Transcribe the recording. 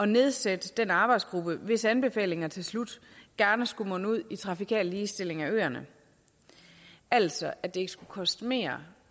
nedsætte en arbejdsgruppe hvis anbefalinger til slut gerne skulle munde ud i trafikal ligestilling af øerne altså at det ikke skulle koste mere